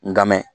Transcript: N ka mɛn